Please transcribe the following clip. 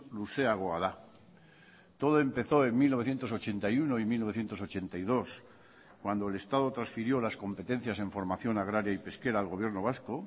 luzeagoa da todo empezó en mil novecientos ochenta y uno y mil novecientos ochenta y dos cuando el estado transfirió las competencias en formación agraria y pesquera al gobierno vasco